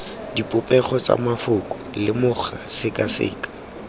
dipopego tsa mafoko lemoga sekaseka